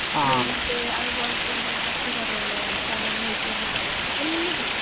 നെല്ല് അതുപോലെ തന്നെ പച്ചക്കറികള്, കെഴങ്ങ് ഐറ്റംസ് എല്ലാം ചെയ്തിരുന്നു.